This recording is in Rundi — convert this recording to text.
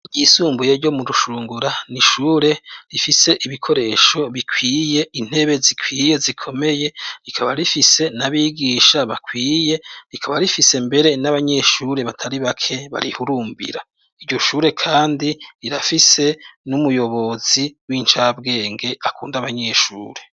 Ryisumbuye ryo mu rushungura nishure rifise ibikoresho bikwiye intebe zikwiye zikomeye rikaba rifise n'abigisha bakwiye rikaba rifise mbere n'abanyeshure batari bake barihurumbira, iryo shure kandi rirafise n'umuyobozi w'incabwenge akunda abanyeshure.